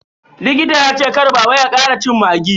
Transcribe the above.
Likita ya ce kar baba ya kara cin maggi.